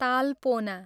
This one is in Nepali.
तालपोना